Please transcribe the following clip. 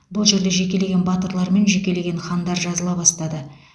бұл жерде жекелеген батырлар мен жекелеген хандар жазыла бастады